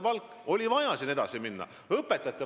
Siin oli vaja edasi minna!